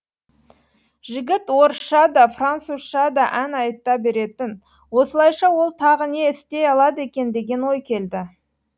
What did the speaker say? жігіт орысша да французша да ән айта беретін осылайша ол тағы да не істей алады екен деген ой келді